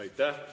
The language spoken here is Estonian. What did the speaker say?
Aitäh!